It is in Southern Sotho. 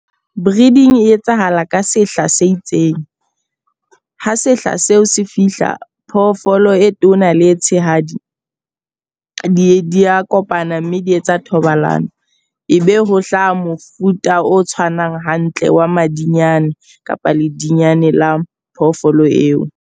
Breeding e etsahala ka sehla se itseng. Ha sehla seo se fihla phoofolo e tona le tshehadi di di a kopana mme di etsa thobalano. E be ho hlaha mofuta o tshwanang hantle wa madinyane kapa ledinyana la phoofolo eo.